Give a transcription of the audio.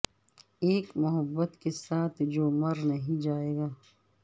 ایک محبت کے ساتھ جو مر نہیں جائے گا